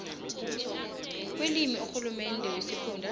kwelimi kurhulumende wesifunda